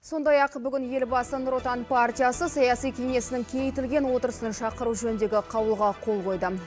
сондай ақ бүгін елбасы нұр отан партиясы саяси кеңесінің кеңейтілген отырысының шақыру жөніндегі қаулыға қол қойды